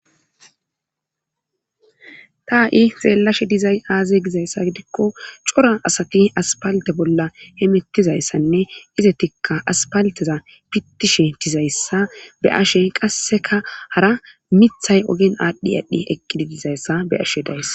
taa7i zeellashe dizay aaze gizayssa gidikko cora asati aspalte bolla he mettizayssanne ize tikka aspalteza pittishe dizayssa be ashe qasseka hara mithay ogen aadhdhi aadhdhi eqqidi dizayssa be ashe dayssa